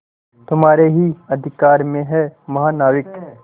तुम्हारे ही अधिकार में है महानाविक